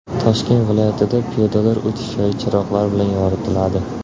Toshkent viloyatida piyodalar o‘tish joyi chiroqlar bilan yoritiladi .